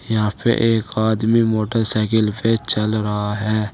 यहां पे एक आदमी मोटरसाइकिल पे चल रहा है।